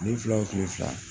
Kile fila wo kile fila